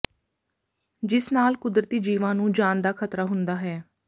ਜਿਸ ਨਾਲ ਕੁਦਰਤੀ ਜੀਵਾਂ ਨੂੰ ਜਾਨ ਦਾ ਖ਼ਤਰਾ ਹੁੰਦਾ ਹੈ